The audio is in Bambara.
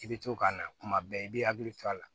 I bɛ to ka na kuma bɛɛ i b'i hakili to a la